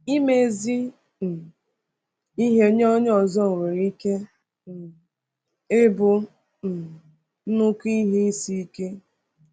Ime ezi um ihe nye ndị ọzọ nwere ike um ịbụ um nnukwu ihe isi ike.